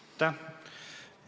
Aitäh!